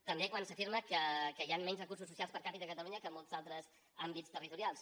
també quan s’afirma que hi han menys recursos socials per capita a catalunya que a molts altres àmbits territorials